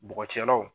Bɔgɔcɛlaw